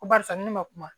Ko barisa ni ne ma kuma